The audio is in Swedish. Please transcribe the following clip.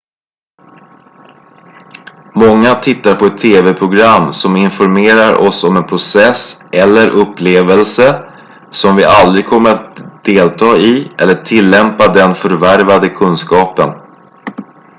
många tittar på ett tv-program som informerar oss om en process eller upplevelse som vi aldrig kommer att delta i eller tillämpa den förvärvade kunskapen